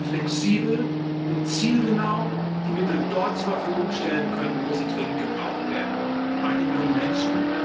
flexibel und zielgenau die Mittel dort zur Verfügung stellen können, wo sie dringend gebraucht werden bei den jungen Menschen.